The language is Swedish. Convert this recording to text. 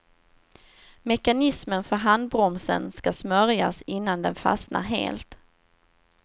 Mekanismen för handbromsen ska smörjas innan den fastnar helt.